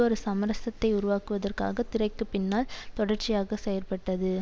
ஒரு சமரசத்தை உருவாக்குவதற்காக திரைக்கு பின்னால் தொடர்ச்சியாக செயற்பட்டது